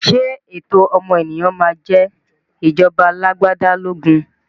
Ṣé ẹ̀tọ́ ọmọnìyàn máa jẹ ìjọba alagbada lógún?